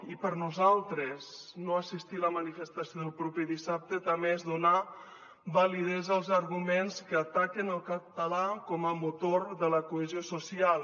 i per nosaltres no assistir a la manifestació del proper dissabte també és donar validesa als arguments que ataquen el català com a motor de la cohesió social